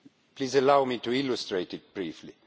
Please allow me to illustrate it briefly.